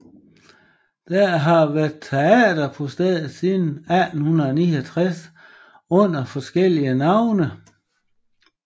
Der har været teater på stedet siden 1869 under forskellige navne